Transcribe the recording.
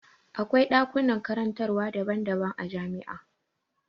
Akwai ɗakunan karantarwa daban daban a jami'a.